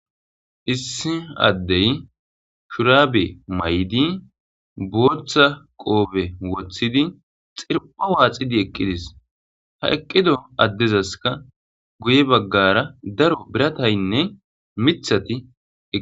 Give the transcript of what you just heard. "Issi addey shurabe mayidi bootha qoobe woththidi xirphpho waaxidi eqqides ha eqqido addezaska guye baggara daro birataynne miththati."